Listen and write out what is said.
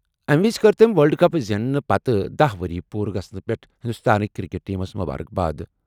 أمہِ وِزِ کٔر تٔمہِ ورلڈ کپ زیننہٕ پتہٕ دہَ ؤری پوٗرٕ گژھنہٕ پٮ۪ٹھ ہِنٛدوستٲنکہِ کِرکٹ ٹیٖمس مُبارک باد۔